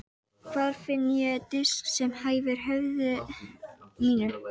Hvar finn ég disk sem hæfir höfði mínu?